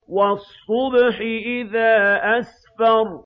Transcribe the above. وَالصُّبْحِ إِذَا أَسْفَرَ